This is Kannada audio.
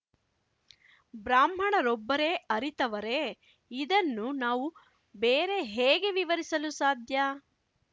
ಬ್ರಾಹ್ಮಣರೊಬ್ಬರೇ ಅರಿತವರೇ ಇದನ್ನು ನಾವು ಬೇರೆ ಹೇಗೆ ವಿವರಿಸಲು ಸಾಧ್ಯ